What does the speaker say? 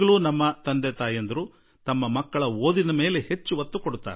ನಮ್ಮ ತಂದೆ ತಾಯಿಗಳು ಇಂದಿಗೂ ಓದಿನ ಕಡೆ ಮತ್ತು ಅಕಾಡೆಮಿಕ್ಸ್ ಮೇಲೆ ಗಮನ ಹರಿಸುವುದಕ್ಕೆ ಒತ್ತು ನೀಡುತ್ತಾರೆ